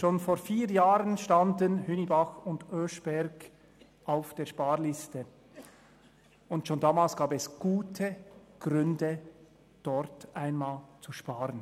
Schon vor vier Jahren standen Hünibach und Oeschberg auf der Sparliste, und schon damals gab es gute Gründe, dort einmal zu sparen.